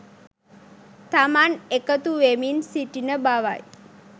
තමන් එකතු වෙමින් සිටින බවයි